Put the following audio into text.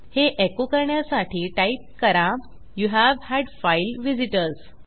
हे एको करण्यासाठी टाईप करा यूव्ह हाड फाइल व्हिझिटर्स